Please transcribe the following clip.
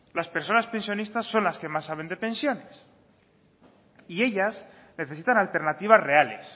las personas pensionistas son las que más saben de pensiones y ellas necesitan alternativas reales